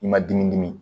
I ma dimi dimi